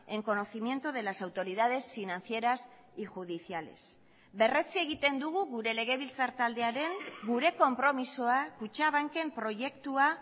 en conocimiento de las autoridades financieras y judiciales berretsi egiten dugu gure legebiltzar taldearen gure konpromisoa kutxabanken proiektua